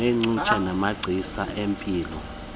neengcutshe namagcisa empilo